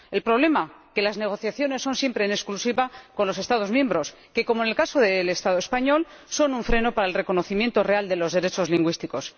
El problema que las negociaciones son siempre en exclusiva con los Estados miembros, que —como en el caso del Estado español— son un freno para el reconocimiento real de los derechos lingüísticos.